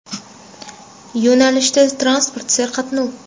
Yo‘nalishda transport serqatnov.